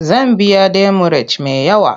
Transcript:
Zan biya demurej me yawa.